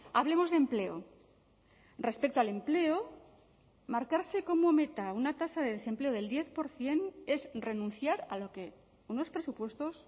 hablemos de empleo respecto al empleo marcarse como meta una tasa de desempleo del diez por ciento es renunciar a lo que unos presupuestos